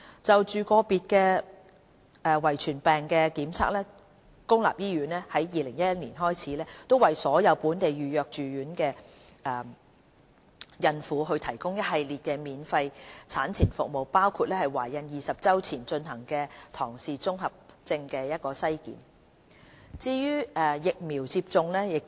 就個別遺傳疾病的檢測，公立醫院自2011年開始為所有本地預約住院的孕婦提供一系列免費產前服務，包括在懷孕20周前進行的唐氏綜合症篩檢。